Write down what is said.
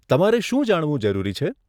તમારે શું જાણવું જરૂરી છે?